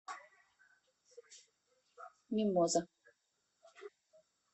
мимоза